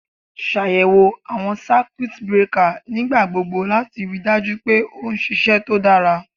Ṣàyẹ̀wò àwọn Circuit breakers nígbà gbogbo láti ríi dájú pé ó ń ṣiṣẹ́ tó dára.